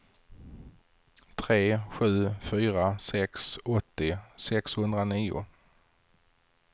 tre sju fyra sex åttio sexhundranio